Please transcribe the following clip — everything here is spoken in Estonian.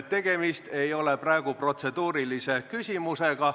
Tegemist ei ole praegu protseduurilise küsimusega.